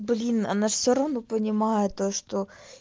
блин она ж все равно понимает то что